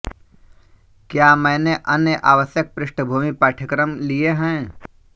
क्या मैंने अन्य आवश्यक पृष्ठभूमि पाठ्यक्रम लिए हैं